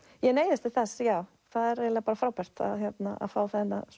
já ég neyðist til þess það er eiginlega frábært að fá